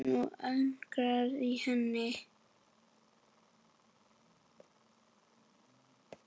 Nú urgaði í henni.